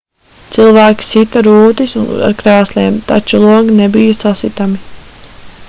cilvēki sita rūtis ar krēsliem taču logi nebija sasitami